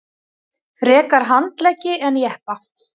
Frekar handleggi en jeppa